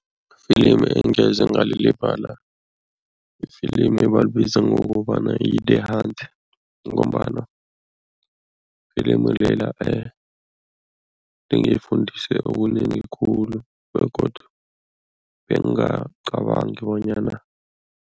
Ifilimu engeze ngalilibala ifilimu ebalibiza ngokobana yi-The Hunt ngombana ifilimi lela lingifundise okunengi khulu begodu bengacabangi bonyana.